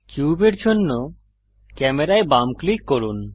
কিউবের জন্য ক্যামেরায় বাম ক্লিক করুন